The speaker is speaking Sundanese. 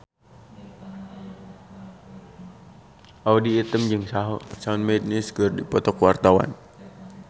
Audy Item jeung Shawn Mendes keur dipoto ku wartawan